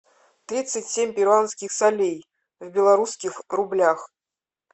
тридцать семь перуанских солей в белорусских рублях